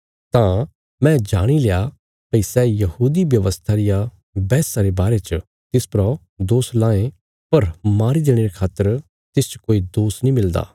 तां मैं जाणी लया भई सै यहूदी व्यवस्था रिया बैहसा रे बारे च तिस परा दोष लांये पर मारी देणे खातर तिसच कोई दोष नीं मिलदा